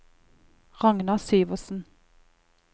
Ragnar Syversen